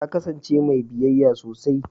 Ta kasance mai biyayya sosai